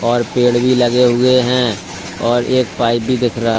और पेड़ भी लगे हुए है और एक पाइप भी दिखरा--